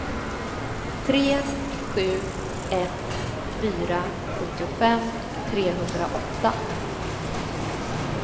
tre sju ett fyra sjuttiofem trehundraåtta